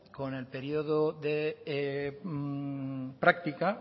con el periodo de práctica